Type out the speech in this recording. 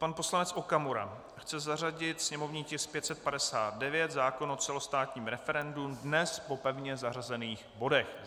Pan poslanec Okamura chce zařadit sněmovní tisk 559, zákon o celostátním referendu, dnes po pevně zařazených bodech.